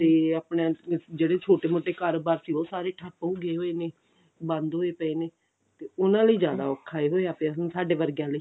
ਤੇ ਆਪਣਾ ਜਿਹੜੇ ਛੋਟੇ ਮੋਟੇ ਕਾਰੋਬਾਰ ਸੀ ਉਹ ਸਾਰੇ ਠੱਪ ਹੋ ਗਏ ਹੋਏ ਨੇ ਬੰਦ ਹੋਏ ਪਏ ਨੇ ਤੇ ਉਹਨਾਂ ਲਈ ਜਿਆਦਾ ਔਖਾ ਔਖਾ ਹੀ ਹੋਇਆ ਪਇਆ ਸਾਡੇ ਵਰਗਿਆਂ ਲਈ